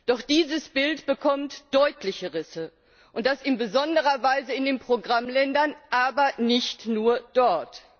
Doch dieses Bild bekommt deutliche Risse! Und das in besonderer Weise in den Programmländern, aber nicht nur dort!